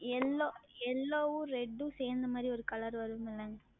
YellowYellow வும் Red உம் சேர்ந்த மாதிரி ஓர் Color வரும் Madam